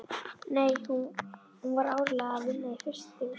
Nei, hún var áreiðanlega að vinna í frystihúsinu.